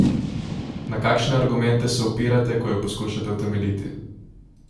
Na kakšne argumente se opirate, ko jo poskušate utemeljiti?